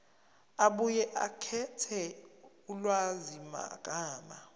abuye akhethe ulwazimagama